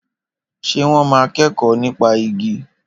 Ṣé wọ́n máa kẹ́kọ̀ọ́ nípa igi?